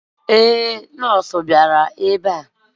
Ee, nọọsụ bịara ebe a.